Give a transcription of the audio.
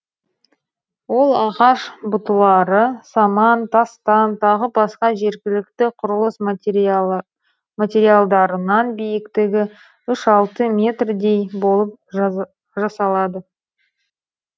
ол ағаш бұтылары саман тастан тағы басқа жергілікті құрылыс материалдарынан биіктігі үш алты метрдей болып жасалады